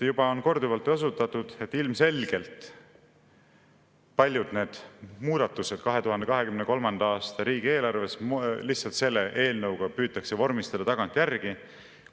Juba on korduvalt osutatud sellele, et ilmselgelt püütakse paljud need muudatused 2023. aasta riigieelarves lihtsalt selle eelnõuga vormistada tagantjärgi.